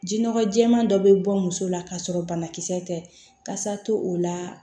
Ji nɔgɔ jɛɛma dɔ bɛ bɔ muso la ka sɔrɔ banakisɛ tɛ kasa to o la